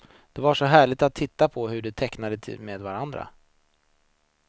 Det var så härligt att titta på hur de tecknade med varandra.